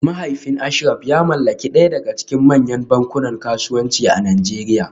Mahaifin Ashraf ya mallaki daya daga cikin manyan bankunan kasuwanci a Najeriya